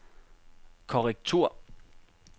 korrektur